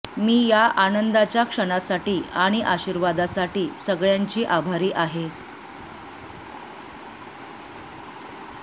मी या आनंदाच्या क्षणासाठी आणि आशिर्वादासाठी सगळ्यांची आभारी आहे